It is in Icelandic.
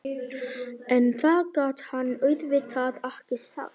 En það gat hann auðvitað ekki sagt.